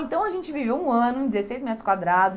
Então, a gente viveu um ano, dezesseis metros quadrados.